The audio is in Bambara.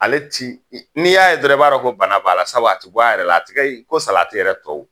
Ale ti, n'i y'a ye dɔrɔn i b'a dɔn ko bana b'a la. Sabu a ti bɔ a yɛrɛ la, a ti kɛ ko salati yɛrɛ tɔw.